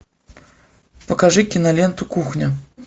покажи киноленту кухня